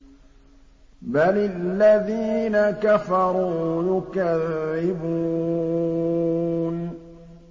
بَلِ الَّذِينَ كَفَرُوا يُكَذِّبُونَ